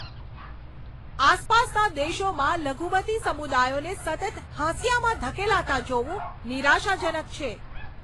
આસપાસના દેશોમાં લઘુમતી સમુદાયોને સતત હાંસિયામાં ધકેલાતા જોવું નિરાશાજનક છે.